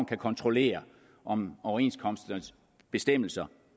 kan kontrollere om overenskomsternes bestemmelser